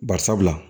Bari sabula